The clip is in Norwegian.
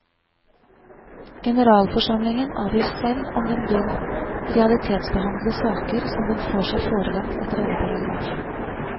Generalforsamlingen avgjør selv om den vil realitetsbehandle saker som den får seg forelagt etter denne paragraf.